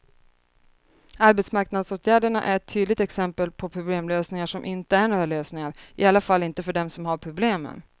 Arbetsmarknadsåtgärderna är ett tydligt exempel på problemlösningar som inte är några lösningar, i alla fall inte för dem som har problemen.